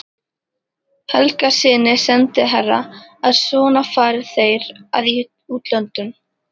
Helgasyni sendiherra að svona fari þeir að í útlöndum.